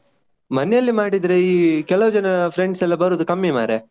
ಮನೆಯಲ್ಲಿ ಮಾಡಿದ್ರೆ ಈ ಕೆಲವು ಜನ friends ಎಲ್ಲ ಬರುದು ಕಮ್ಮಿ ಮಾರಯಾ.